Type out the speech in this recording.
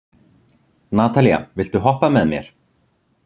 Natalía, viltu hoppa með mér?